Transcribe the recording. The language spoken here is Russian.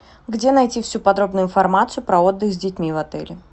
где найти всю подробную информацию про отдых с детьми в отеле